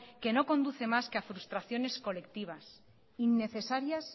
que no conduce más que a frustraciones colectivas innecesarias